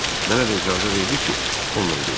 Mənə də icazə verdi ki, onunla gedim.